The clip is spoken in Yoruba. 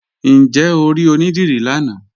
Ǹjẹ́ o ri onídírí lánà?